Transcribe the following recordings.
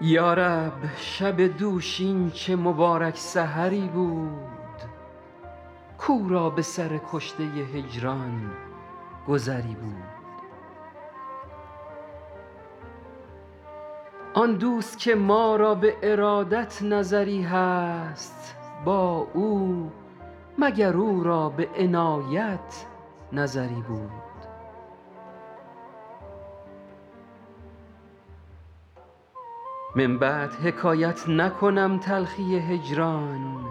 یا رب شب دوشین چه مبارک سحری بود کاو را به سر کشته هجران گذری بود آن دوست که ما را به ارادت نظری هست با او مگر او را به عنایت نظری بود من بعد حکایت نکنم تلخی هجران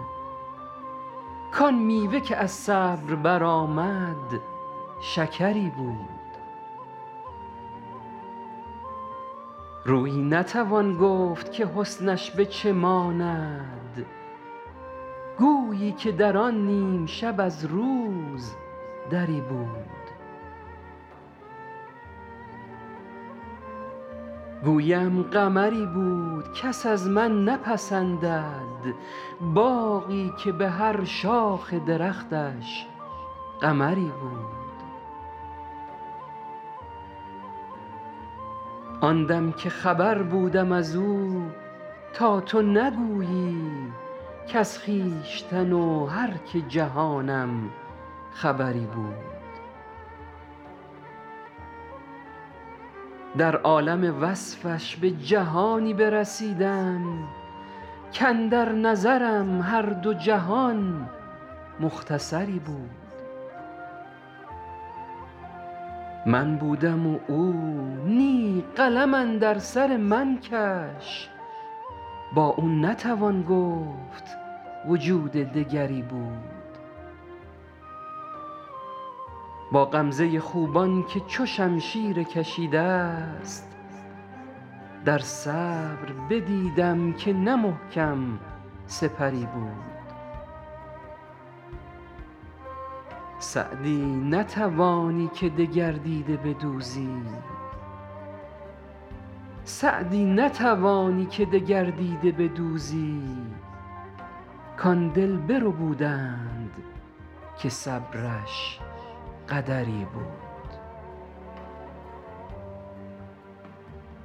کآن میوه که از صبر برآمد شکری بود رویی نتوان گفت که حسنش به چه ماند گویی که در آن نیم شب از روز دری بود گویم قمری بود کس از من نپسندد باغی که به هر شاخ درختش قمری بود آن دم که خبر بودم از او تا تو نگویی کز خویشتن و هر که جهانم خبری بود در عالم وصفش به جهانی برسیدم کاندر نظرم هر دو جهان مختصری بود من بودم و او نی قلم اندر سر من کش با او نتوان گفت وجود دگری بود با غمزه خوبان که چو شمشیر کشیده ست در صبر بدیدم که نه محکم سپری بود سعدی نتوانی که دگر دیده بدوزی کآن دل بربودند که صبرش قدری بود